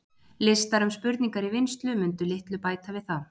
Listar um spurningar í vinnslu mundu litlu bæta við það.